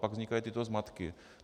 Pak vznikají tyto zmatky.